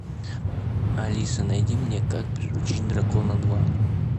алиса найди мне как приручить дракона два